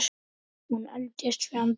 Hún eldist fjandi vel.